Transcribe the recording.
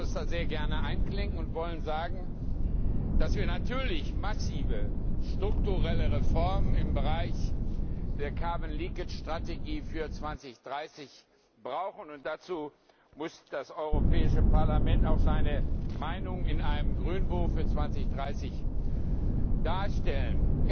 Wir wollen uns da sehr gerne einklinken und wollen sagen, dass wir natürlich massive strukturelle Reformen im Bereich der Strategie für 2030 brauchen, und dazu muss das Europäische Parlament auch seine Meinung in einem Grünbuch für 2030 darstellen.